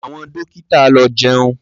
Àwọn dọ́kítà lọ jẹun.